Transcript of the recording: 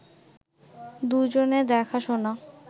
দুইজনে দেখা-শোনা